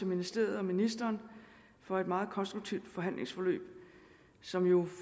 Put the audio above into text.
ministeriet og ministeren for et meget konstruktivt forhandlingsforløb som jo